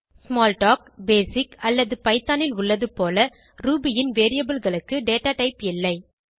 Smalltalk BASIC அல்லது Python ல் உள்ளது போல ரூபி ன் Variableகளுக்கு டேட்டாடைப் இல்லை